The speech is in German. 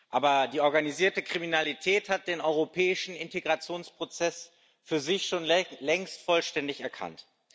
Aber die organisierte Kriminalität hat den europäischen Integrationsprozess für sich schon längst vollständig erkannt.